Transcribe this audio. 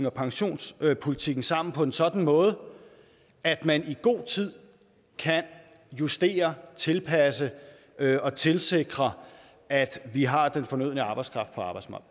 og pensionspolitikken sammen på en sådan måde at man i god tid kan justere tilpasse og tilsikre at vi har den fornødne arbejdskraft